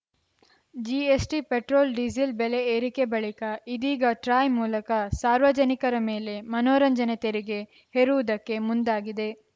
GST petrol diesel ಬೆಲೆ ಏರಿಕೆ ಬಳಿಕ ಇದೀಗ ಟ್ರಾಯ್‌ ಮೂಲಕ ಸಾರ್ವಜನಿಕರ ಮೇಲೆ ಮನೋರಂಜನೆ ತೆರಿಗೆ ಹೇರುವುದಕ್ಕೆ ಮುಂದಾಗಿದೆ